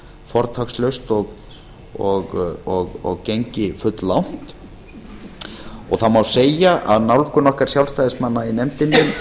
fortakslaust og gengi fulllangt það má segja að nálgun okkar sjálfstæðismanna í nefndinni